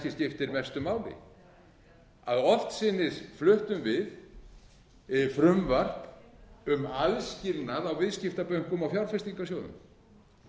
skiptir mestu máli að oftsinnis fluttum við frumvarp um aðskilnað á viðskiptabönkum og fjárfestingarsjóðum